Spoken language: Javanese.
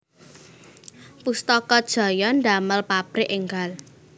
Pustaka Jaya ndamel pabrik enggal